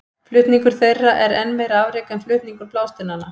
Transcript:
Flutningur þeirra er enn meira afrek en flutningur blásteinanna.